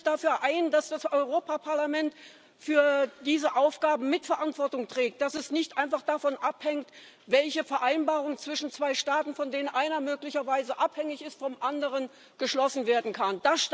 Setzen Sie sich dafür ein, dass das Europäische Parlament für diese Aufgaben Miterantwortung trägt, dass es nicht einfach davon abhängt, welche Vereinbarung zwischen zwei Staaten, von denen einer möglicherweise vom anderen abhängig ist, geschlossen werden kann.